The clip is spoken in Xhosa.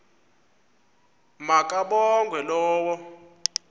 ma kabongwe low